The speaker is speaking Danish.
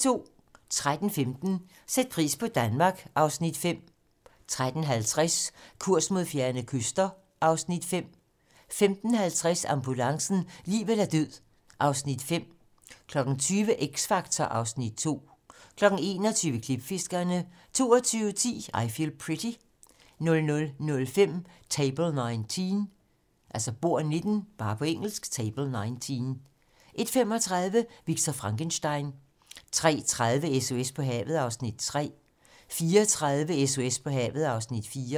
13:15: Sæt pris på Danmark (Afs. 5) 13:50: Kurs mod fjerne kyster (Afs. 5) 15:50: Ambulancen - liv eller død (Afs. 5) 20:00: X Factor (Afs. 2) 21:00: Klipfiskerne 22:10: I Feel Pretty 00:05: Table 19 01:35: Victor Frankenstein 03:30: SOS på havet (Afs. 3) 04:30: SOS på havet (Afs. 4)